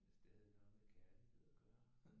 Det er stadig noget med kærlighed at gøre